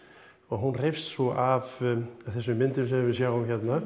hún hreifst svo af þessum myndum sem við sjáum hérna